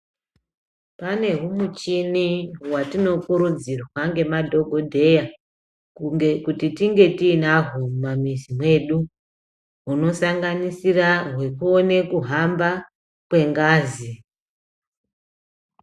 Pane humichini hwatinokurudzirwa ngemadhokodheya, kunge kuti tinge tiinahwo mumamizi mwedu, hunosanganisira hwekuone kuhamba, kwengazi.